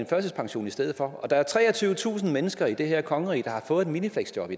førtidspension i stedet for der er treogtyvetusind mennesker i det her kongerige der har fået minifleksjob